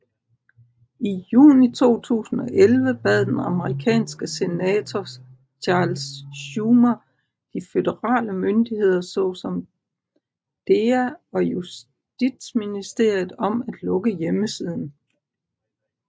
I juni 2011 bad den amerikanske senator Charles Schumer de føderale myndigheder såsom DEA og Justitsministeriet om at lukke hjemmesiden